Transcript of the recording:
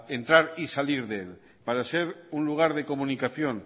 entrar y salir de él para ser un lugar de comunicación